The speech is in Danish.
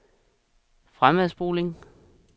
fremadspoling